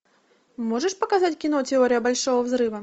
можешь показать кино теория большого взрыва